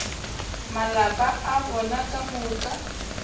malapa a bona ka moka